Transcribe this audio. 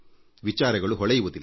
ವಿಚಾರಗಳು ಹೊಳೆಯುವುದಿಲ್ಲ